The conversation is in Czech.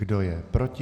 Kdo je proti?